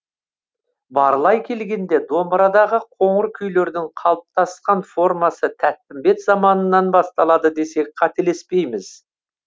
барлай келгенде домбырадағы қоңыр күйлердің қалыптасқан формасы тәттімбет заманынан басталады десек қателеспейміз